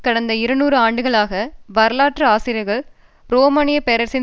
கடந்த இருநூறு ஆண்டுகளாக வரலாற்று ஆசிரியர்கள் ரோமானியப் பேரரசின்